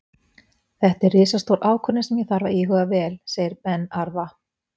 Þetta er risastór ákvörðun sem ég þarf að íhuga vel, segir Ben Arfa.